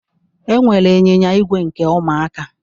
Enwere anyịnya ígwè nke Ụmụaka.